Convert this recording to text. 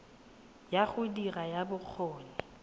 ya go dira ya bokgoni